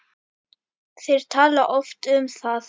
Þeir tala oft um það.